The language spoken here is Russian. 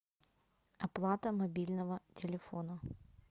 оплата мобильного телефона